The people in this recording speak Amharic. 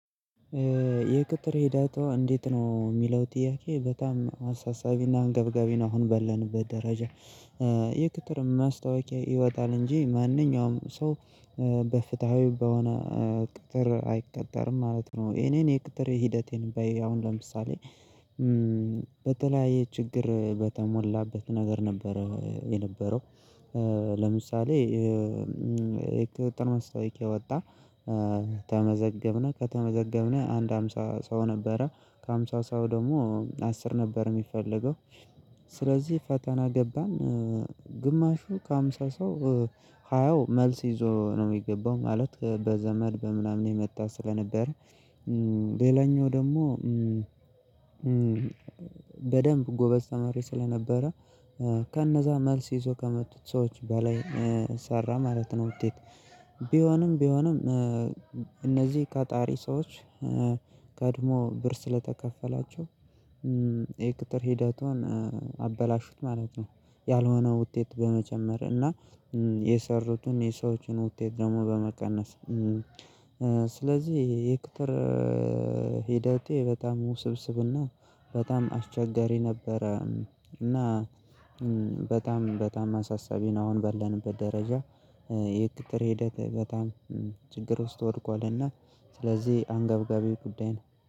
የቅጥር ሄዳቷ እንዴት ነው የሚለው ጥያቄ በጣም አሳሳቢና አንገብጋቢ ነው አሁን ባለንበት ደረጃ። የቅጥር ማስታወቂያ ይወጣል እንጂ ማንኛውም ሰው በፍትሃዊ በሆነ ቅጥር አይቀጠርም ማለት ነው። የኔ የቅጥር ሂደቴን በይ አሁን ለምሳሌ በተለያየ ችግር በተሞላበት ነገር ነበረ የነበረው። ለምሳሌ የቅጥር መስታወቂያ ወጣ። ተመዘገብነ ከተመዘገብነ አንድ ሃምሳ ሰው ነበረ ከሃምሳ ሰው ደግሞ አስር ነበር የሚፈለገው። ስለዚህ ፈተና ገባን። ግማሹ ከሃምሳ ሰው ሃያው መልስ ይዞ ነው የሚገባው ማለት በዘመድ በምናምን የመጣ ስለነበር። ሌላኛው ደግሞ። በደንብ ጎበዝ ተማሪ ስለነበረ። ከነዛ መልስ ይዞ ከመጡት ሰዎች በላይ ሰራ ማለት ነው። ውጤት ቢሆንም ቢሆንም እነዚህ ቀጣሪ ሰዎች ቀድሞ ብር ስለተከፈላቸው። የቅጥር ሂደቱን አበላሹት ማለት ነው። ያልሆነው ውጤት በመጨመር እና የሰሩትን የሰዎችን ውጤት ደግሞ በመቀነስ። ስለዚህ የቅጥር ሄደቴ በጣም ውስብስብና በጣም አስቸጋሪ ነበረ። እና በጣም በጣም አሳሳቢ ነው አሁን ባለንበት ደረጃ። የቅጥር ሂደት በጣም ችግር ውስጥ ወድቋልና ስለዚህ አንገብጋቢ ጉዳይ ነው